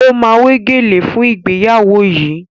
O ma wé gèlè fún ìgbéyàwó yìí